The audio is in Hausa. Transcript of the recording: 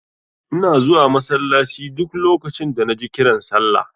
Ina zuwa masallaci duk lokacin da naji kiran sallah.